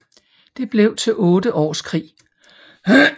Det blev til otte års krig